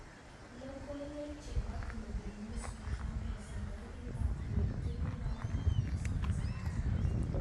Logoiwek chebo Glabal Newsbeat 1000 27/11/2017.